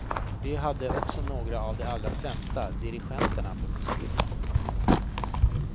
Vi hade också några av de allra främsta dirigenterna på besök.